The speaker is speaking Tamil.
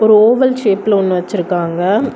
ஓவல் ஷேப்ல ஒன்னு வச்சிருக்காங்க.